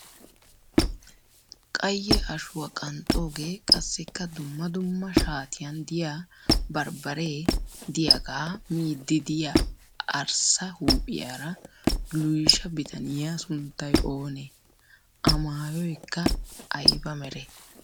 qayye ashuwa qanxxoogee, qassikka dumma dumma shaatiyan diya bambbaree diyagaa miiddi diya arssa huuphiyaara luyisha bitaniya sunttay oonee? amayyoyikka ayiba meree?